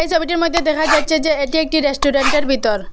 ছবিটির মইদ্যে দেখা যাচ্ছে যে এটি একটি রেস্টুরেন্ট এর ভিতর।